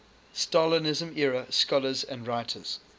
stalinism era scholars and writers